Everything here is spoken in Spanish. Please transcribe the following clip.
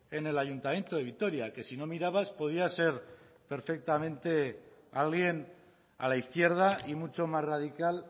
en el ayuntamiento de vitoria que si no mirabas podía ser perfectamente alguien a la izquierda y mucho más radical